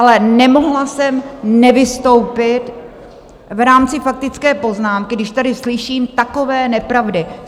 Ale nemohla jsem nevystoupit v rámci faktické poznámky, když tady slyším takové nepravdy.